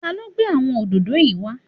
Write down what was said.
Ta ló gbé àwọn òdòdó yìí wá?